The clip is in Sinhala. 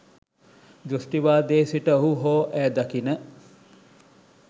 දෘෂ්ටිවාදයේ සිට ඔහු හෝ ඇය දකින